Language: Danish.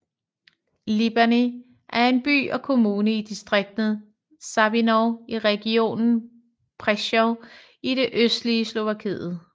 Lipany er en by og kommune i distriktet Sabinov i regionen Prešov i det østlige Slovakiet